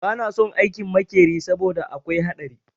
Ba na son aikin makeri saboda akwai haɗari